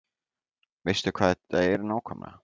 Veistu hvað þetta er nákvæmlega?